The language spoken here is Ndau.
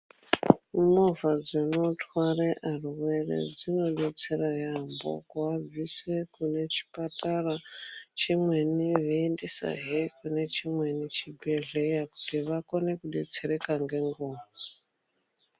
Movha dzinotware arwere dzinodetsera yaamho kuabvise kune chipatara beiendesazve kune chimweni chibhedhleya kuti vakone kudetsereka ngenguwa.